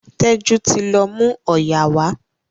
Teju tí lọ mú oyà wa.